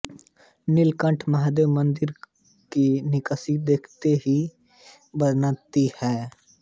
नीलकंठ महादेव मंदिर की नक़्क़ाशी देखते ही बनती है